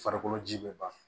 Farikolo ji be ban